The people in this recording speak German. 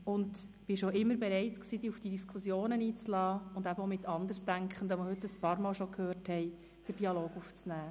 Du warst auch immer bereit, dich auf die Diskussion einzulassen und mit Andersdenkenden den Dialog aufzunehmen.